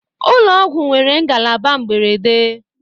ụlọ ọgwụ nwere ngalaba mberede